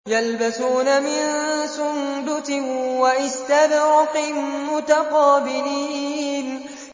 يَلْبَسُونَ مِن سُندُسٍ وَإِسْتَبْرَقٍ مُّتَقَابِلِينَ